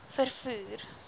vervoer